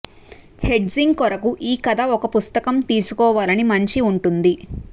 hedging కొరకు ఈ కథ ఒక పుస్తకం తీసుకోవాలని మంచి ఉంటుంది